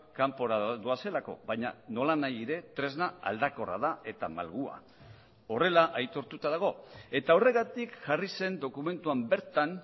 kanpora doazelako baina nola nahi ere tresna aldakorra da eta malgua horrela aitortuta dago eta horregatik jarri zen dokumentuan bertan